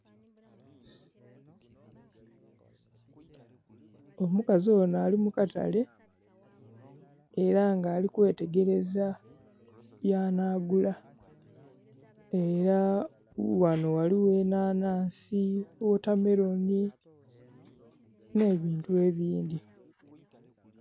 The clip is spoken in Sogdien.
Omukazi onho ali mu katale era nga ali kwetegereza byanagula. Era ghano ghaligho enhanhansi, wotameloni nh'ebintu ebindhi.